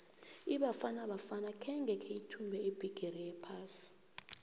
ibafana bafana khange kheyithumbe ibhigiri yephasi